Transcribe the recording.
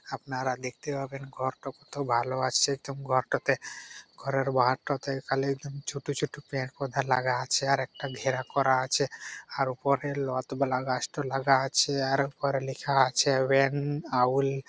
আপনারা দেখতে পাবেন ঘর টা কত ভালো আছে | একদম ঘরটাতে ঘরের বাহারটাতে একদম ছোট ছোট পের পদা লাগা আছে | আর একটা ঘেরা করা আছে আর ওপরে গাছটা লাগা আছে | আর ওপরে লেখা আছে হোয়েন --